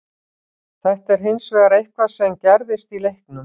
Þetta er hins vegar eitthvað sem gerðist í leiknum.